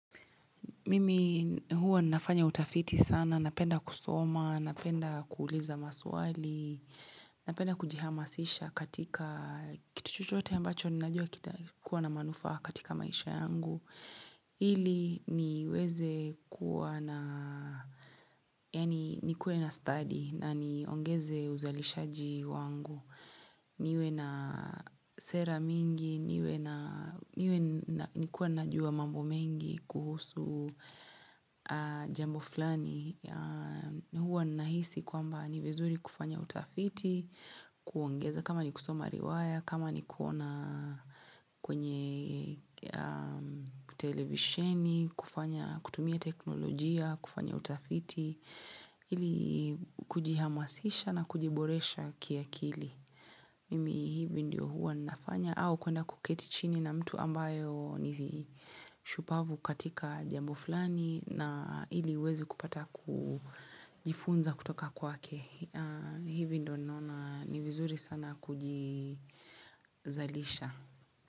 Mimi huwa nafanya utafiti sana, napenda kusoma, napenda kuuliza maswali, napenda kujihamasisha katika kitu chochote ambacho ninajua kitakuwa na manufaa katika maisha yangu. Ili niweze kuwa na, yani nikuwe na stadi na niongeze uzalishaji wangu. Niwe na sera mingi, niwe na, niwe nakuwa najua mambo mengi kuhusu jambo fulani. Huwa ninahisi kwamba ni vizuri kufanya utafiti kuongeza kama ni kusoma riwaya kama ni kuona kwenye televisheni kutumia teknolojia kufanya utafiti ili kujihamasisha na kujiboresha kiakili mimi hivi ndio huwa nafanya au kuenda kuketi chini na mtu ambayo ni shupavu katika jambo fulani na ili niwezi kupata kujifunza kutoka kwake hivi ndio naona ni vizuri sana kujizalisha.